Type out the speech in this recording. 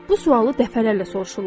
Bu sualı dəfələrlə soruşurlar.